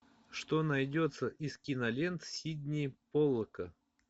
что найдется из кинолент сидни поллака